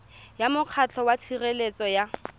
ya mokgatlho wa tshireletso ya